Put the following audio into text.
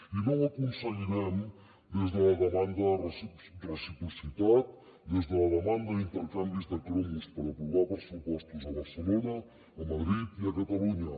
i no ho aconseguirem des de la demanda de reciprocitat des de la demanda d’intercanvis de cromos per aprovar pressupostos a barcelona a madrid i a catalunya